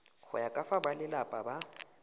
ya ka fa balelapa ba